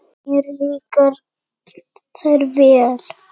Mér líka þær vel.